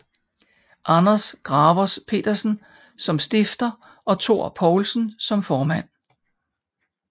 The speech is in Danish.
Anders Gravers Pedersen som stifter og Thor Poulsen som formand